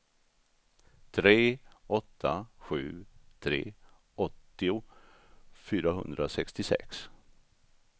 tre åtta sju tre åttio fyrahundrasextiosex